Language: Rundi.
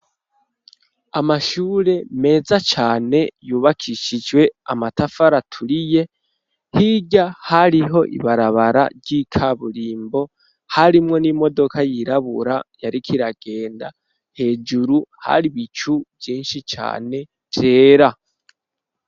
Amashure, meza cane, yubakishijwe amatafari aturiye; hirya, hariho ibarabara, ry'ikaburimbo, harimwo n'imodoka yirabura, yariko iragenda; hejuru, hari ibicu vyinshi cane, vyera.